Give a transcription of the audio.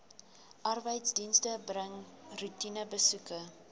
arbeidsdienste bring roetinebesoeke